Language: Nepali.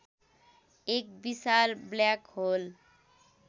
एक विशाल ब्ल्याक होल